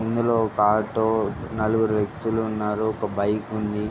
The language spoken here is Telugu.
ఇందులో ఒక ఆటో నలుగురు వ్వక్తులు ఉన్నారు ఒక బైక్ ఉంది.